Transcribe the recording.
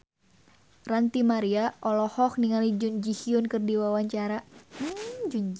Ranty Maria olohok ningali Jun Ji Hyun keur diwawancara